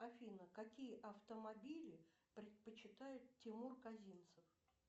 афина какие автомобили предпочитает тимур казинцев